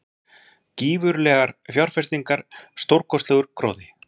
Gífurlegar fjárfestingar- stórkostlegur gróði.